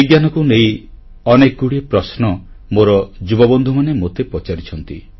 ବିଜ୍ଞାନକୁ ନେଇ ଅନେକଗୁଡ଼ିଏ ପ୍ରଶ୍ନ ମୋର ଯୁବବନ୍ଧୁମାନେ ମୋତେ ପଚାରିଛନ୍ତି